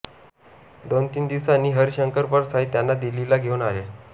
दोनतीन दिवसांनी हरिशंकर परसाई त्यांना दिल्लीला घेवून आले